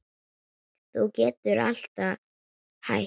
Þú getur alltaf hætt